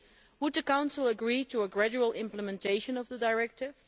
Would the Council agree to a gradual implementation of the directive?